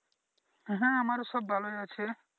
হ্যাঁ আমারও সব ভালোই আছে।